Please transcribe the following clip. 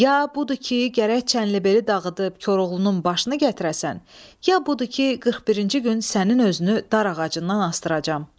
Ya budur ki, gərək Çənlibeli dağıdıb Koroğlunun başını gətirəsən, ya budur ki, 41-ci gün sənin özünü dar ağacından asdıracam.